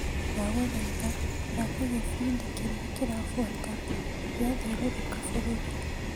Ndagũthaitha thaka gĩbindi kĩrĩa kĩrabuata gĩa thiũrũrũka bũrũri .